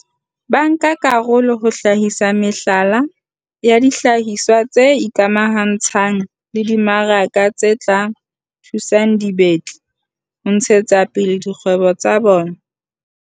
bankakarolo ho hlahisa mehlala ya dihlahiswa tse ikamahantshang le dimaraka tse tla thusang dibetli ho ntshetsapele dikgwebo tsa bona.